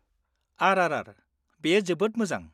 -RRR, बेयो जोबोद मोजां।